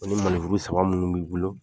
o ni saba minnu b'i bolo.